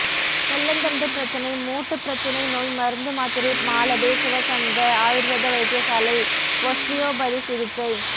முள்ளந்தண்டு பிரச்சினை மூட்டுப்பிரச்சினை நோய் மருந்து மாத்திரை மாலபே சுவசந்த ஆயுர்வேத வைத்தியசாலை ஒஸ்டியோபதி சிகிச்சை